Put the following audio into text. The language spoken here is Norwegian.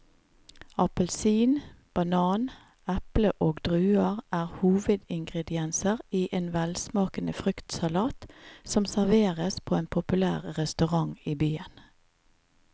Appelsin, banan, eple og druer er hovedingredienser i en velsmakende fruktsalat som serveres på en populær restaurant i byen.